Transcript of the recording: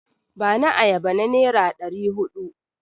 Bani ayaba na nera ɗari huɗu!